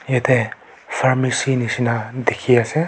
ite pharmacy nishina dikhi ase.